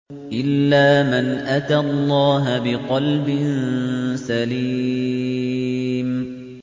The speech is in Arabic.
إِلَّا مَنْ أَتَى اللَّهَ بِقَلْبٍ سَلِيمٍ